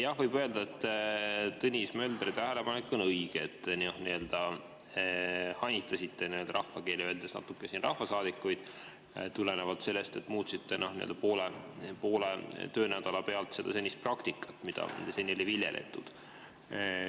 Jah, võib öelda, et Tõnis Möldri tähelepanek on õige, et te rahvakeeli öeldes hanitasite natuke siin rahvasaadikuid tulenevalt sellest, et muutsite poole töönädala pealt praktikat, mida seni oli viljeletud.